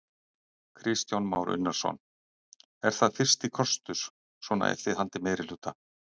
Kristján Már Unnarsson: Er það fyrsti kostur svona ef þið haldið meirihluta?